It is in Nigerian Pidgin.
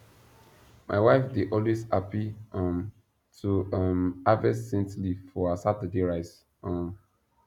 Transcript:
my wife dey always happy um to um harvest scent leaf for her saturday rice um